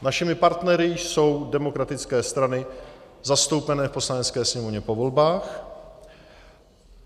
Našimi partnery jsou demokratické strany zastoupené v Poslanecké sněmovně po volbách.